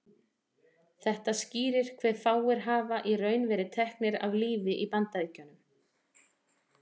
Þetta skýrir hve fáir hafa í raun verið teknir af lífi í Bandaríkjunum.